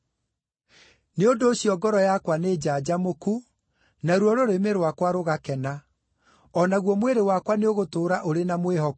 Nĩ ũndũ ũcio ngoro yakwa nĩnjanjamũku, naruo rũrĩmĩ rwakwa rũgakena; o naguo mwĩrĩ wakwa nĩũgũtũũra ũrĩ na mwĩhoko,